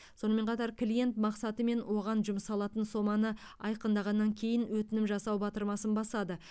сонымен қатар клиент мақсаты мен оған жұмсалатын соманы айқындағаннан кейін өтінім жасау батырмасын басады